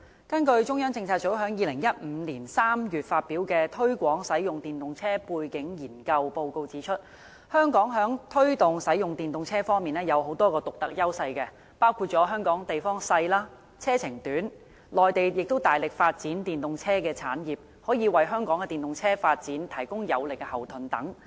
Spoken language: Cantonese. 根據中央政策組在2015年3月發表的"推廣使用電動車背景研究"報告指出，香港在推動使用電動車方面有多項獨特優勢，包括香港地方小、車程短、內地大力發展電動車產業，可以為香港的電動車發展提供有力後盾等。